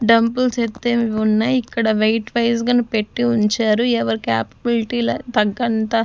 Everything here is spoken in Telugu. డంబుల్స్ ఎత్తేవి ఉన్నాయ్ ఇక్కడ వెయిట్ వైస్ గనె పెట్టి ఉంచారు ఎవరి క్యాపబిలిటీల తగ్గంత--